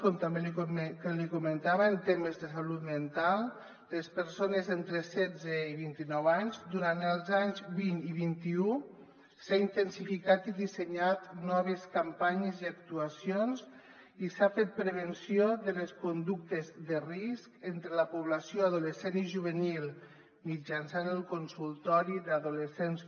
com també li comentava en temes de salut mental per a les persones entre setze i vint·i·nou anys durant els anys vint i vint un s’han intensi·ficat i dissenyat noves campanyes i actuacions i s’ha fet prevenció de les conductes de risc entre la població adolescent i juvenil mitjançant el consultori adolescents